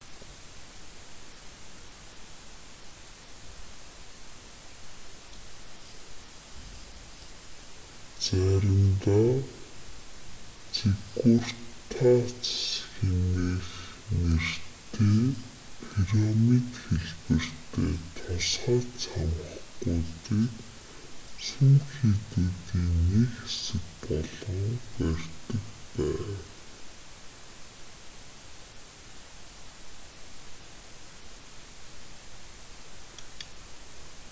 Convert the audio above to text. заримдаа зиггуратс нэртэй пирамид хэлбэртэй тусгай цамхгуудыг сүм хийдүүдийн нэг хэсэг болгон барьдаг байв